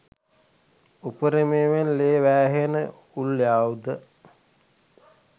උපරිමයෙන් ලේ වෑහෙන උල් ආයුධ